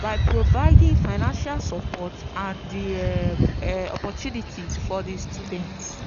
by providing financial support and di um opportunities for di students.